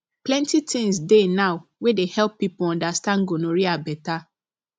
plenty things dey now wey dey help people understand gonorrhea better